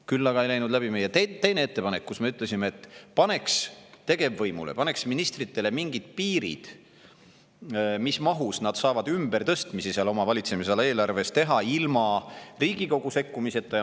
Kuid ei läinud läbi meie teine ettepanek, millega me ütlesime, et paneks tegevvõimule, ministritele mingid piirid, mis mahus nad saavad ümbertõstmisi oma valitsemisala eelarves teha ilma Riigikogu sekkumiseta.